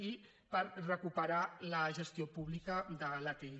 i per recuperar la gestió pública de l’atll